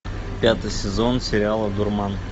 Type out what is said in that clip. пятый сезон сериала дурман